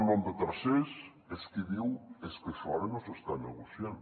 nom de tercers és qui diu és que això ara no s’està negociant